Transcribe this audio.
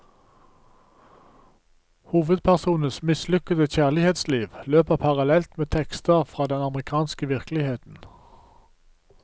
Hovedpersonens mislykkede kjærlighetsliv løper parallelt med tekster fra den amerikanske virkeligheten.